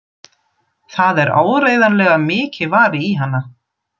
Það er áreiðanlega mikið varið í hana.